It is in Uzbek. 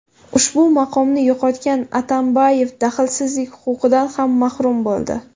Ushbu maqomni yo‘qotgan Atambayev daxlsizlik huquqidan ham mahrum bo‘ldi.